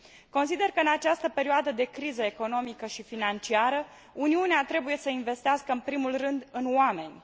Consider că în această perioadă de criză economică și financiară, Uniunea trebuie să investească în primul rând în oameni.